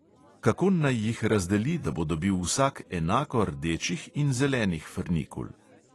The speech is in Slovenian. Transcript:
Kako naj jih razdeli, da bo dobil vsak enako rdečih in zelenih frnikul?